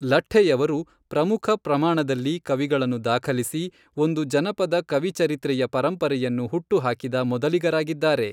ಲಠ್ಠೆಯವರು ಪ್ರಮುಖ ಪ್ರಮಾಣದಲ್ಲಿ ಕವಿಗಳನ್ನು ದಾಖಲಿಸಿ ಒಂದು ಜನಪದ ಕವಿ ಚರಿತ್ರೆಯ ಪರಂಪರೆಯನ್ನು ಹುಟ್ಟು ಹಾಕಿದ ಮೊದಲಿಗರಾಗಿದ್ದಾರೆ.